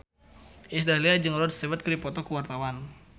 Iis Dahlia jeung Rod Stewart keur dipoto ku wartawan